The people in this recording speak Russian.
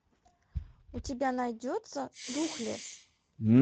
у тебя найдется духлесс